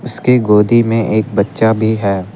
उसकी गोदी में एक बच्चा भी है।